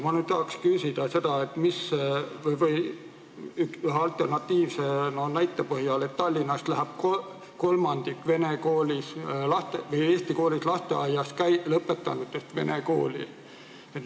Ma nüüd tahaks küsida selle alternatiivse näite põhjal, et Tallinnas läheb kolmandik eesti lasteaia lõpetanutest vene kooli.